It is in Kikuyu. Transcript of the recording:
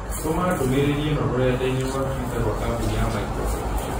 Tũma ndũmīrīri īno rũrenda-inī rũa tũita rũa kambũni ya Microsoft